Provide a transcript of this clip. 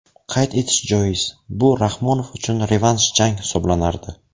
Qayd etish joiz, bu Rahmonov uchun revansh jang hisoblanardi.